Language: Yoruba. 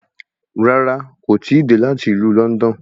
Rárá, kò tíì dé láti ìlú Lọ́ndọ̀n